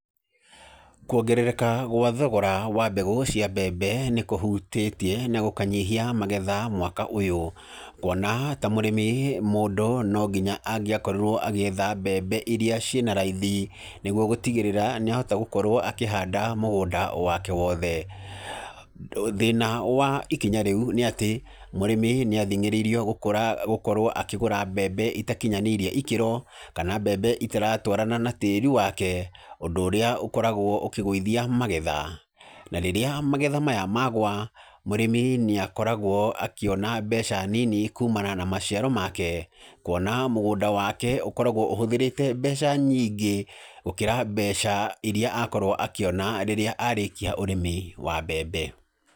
Kuongerereka gwa thogora wa mbegũ cia mbembe nĩkũhutĩtie na gũkanyihia magetha mwaka ũyũ, kuona ta mũrĩmi mũndũ no nginya angĩakorirwo agĩetha mbembe iria ciĩ na raithi nĩguo gũtigĩrĩra nĩahota gukorwo akĩhanda mũgũnda wake wothe. Thĩna wa ikinya rĩu nĩ atĩ mũrĩmi nĩ athingĩrĩirio gũkorwo akĩgũra mbembe itakinyanĩirie ikĩro kana mbembe itaratwarana na tĩĩri wake, ũndũ ũrĩa ũkoragwo ũkĩgũithia magetha, na rĩrĩa magetha maya magũa mũrĩmi nĩ akoragwo akĩona mbeca nini kumana na maciaro make kuona mũgũnda wake ũkoragwo uhũthĩrĩte mbeca nyingĩ gũkĩra mbeca iria akorwo akĩona rĩrĩa arĩkia ũrĩmi wa mbembe.